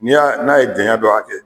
Ni ya n'a ye janya dɔ hakɛ